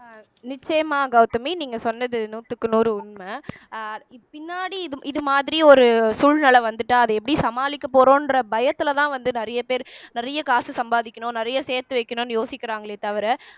நிச்சயமாக கௌதமி நீங்க சொன்னது நூத்துக்கு நூறு உண்மை அஹ் பின்னாடி இது இது மாதிரி ஒரு சூழ்நிலை வந்துட்டா அத எப்படி சமாளிக்க போறோம்ன்ற பயத்துலதான் வந்து நிறைய பேர் நிறைய காசு சம்பாதிக்கணும் நிறைய சேர்த்து வைக்கணும்ன்னு யோசிக்கிறாங்களே தவிர